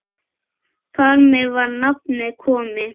Þar með var nafnið komið.